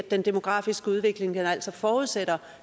den demografiske udvikling altså forudsætter